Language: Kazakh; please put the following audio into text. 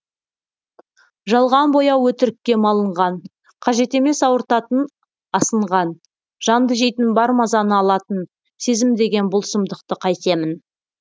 жалған бояу өтірікке малынған қажет емес ауыртатын асынған жанды жейтін бар мазаны алатын сезім деген бұл сұмдықты қайтемін